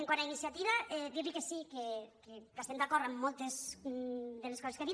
quant a iniciativa dir·li que sí que estem d’acord amb moltes de les coses que ha dit